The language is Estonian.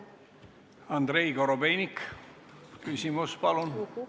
Andrei Korobeinik, küsimus, palun!